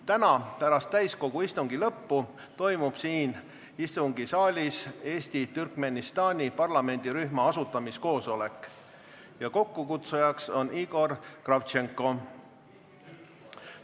Täna pärast täiskogu istungi lõppu toimub siin istungisaalis Eesti-Türkmenistani parlamendirühma asutamiskoosolek, mille kokkukutsuja on Igor Kravtšenko.